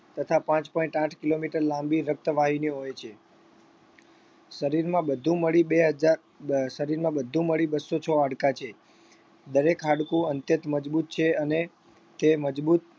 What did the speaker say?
તથા પાંચ point આઠ kilometer લાંબી રક્તવાહિનીઓ હોય છે શરીરમાં બધું મળી બે હજાર શરીરમાં બધું મળી બસ્સો છ હાડકા છે દરેક હાડકું અંત્યત મજબૂત છે અને તે મજબૂત